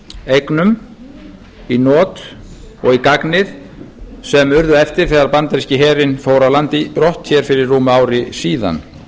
eignum í not og í gagnið sem urðu eftir þegar bandaríski herinn fór af landi brott hér fyrir rúmu ári síðan